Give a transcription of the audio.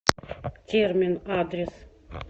термин адрес